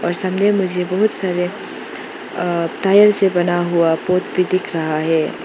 और सामने मुझे बहुत सारे अअ टायर से बना हुआ पोट भी दिख रहा है।